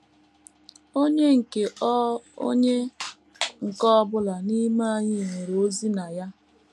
Onye nke ọ Onye nke ọ bụla n’ime anyị nwere ozi na ya.